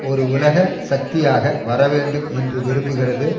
ஒரு உலக சக்தியாக வர வேண்டும் என்று விரும்புகிறது